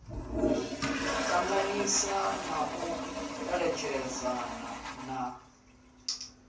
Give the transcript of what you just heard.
ṱanganyisa na u eletshedzana na